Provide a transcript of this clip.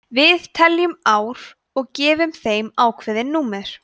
við teljum ár og gefum þeim ákveðin númer